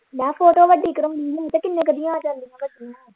ਮੈਂ ਫੋਟੋ ਵੱਡੀ ਕਰਾਉਣੀ ਹੀ ਤੇ ਕਿੰਨੇ ਕੁ ਦੀ ਆ ਜਾਂਦੀ ਵੱਡੀ।